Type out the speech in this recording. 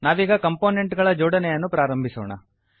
ನಾವೀಗ ಕಂಪೊನೆಂಟ್ ಗಳ ಜೋಡಣೆಯನ್ನು ಪ್ರಾರಂಭಿಸೋಣ